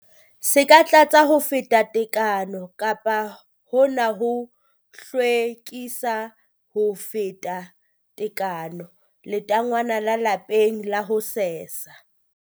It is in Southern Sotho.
Se ka tlatsa ho feta tekano kapa hona ho hlwekisa ho feta tekano letangwana la lapeng la ho sesa.